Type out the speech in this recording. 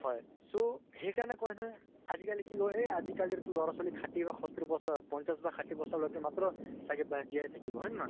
so, সেইকাৰণে কয় নহয়, আজিকালি কি কয় । য়ে আজিকালি লʼৰা ছোৱালী খাঠি সত্তৰ বছৰত, পঞ্চাছ বা ষাঠি বছৰলৈকে মাত্ৰ জীয়াই থাকিব । হয় ন হয় ?